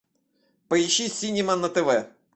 поищи синема на тв